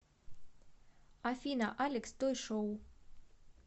афина алекс той шоу